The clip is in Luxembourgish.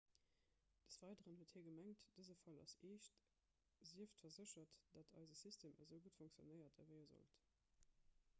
des weideren huet hie gemengt dëse fall ass eescht sieft verséchert datt eise system esou gutt funktionéiert ewéi e sollt